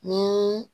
Ni